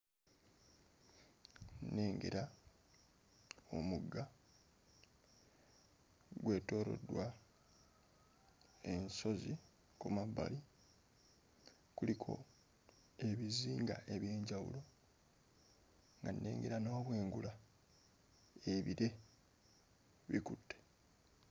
Nnengera omugga gwetooloddwa ensozi ku mabbali kuliko ebizinga eby'enjawulo nga nnegera n'obwengula ebire bikutte.